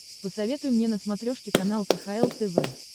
посоветуй мне на смотрешке канал кхл тв